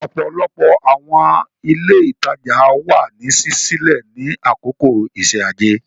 Ọ̀pọ̀lọpọ̀ àwọn ilé ìtajà wà ní ṣíṣí sílẹ̀ ní àkókò iṣẹ́ ajé.